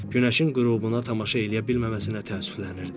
Günəşin qürubuna tamaşa eləyə bilməməsinə təəssüflənirdi.